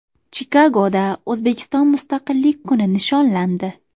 Chikagoda O‘zbekiston Mustaqillik kuni nishonlandi.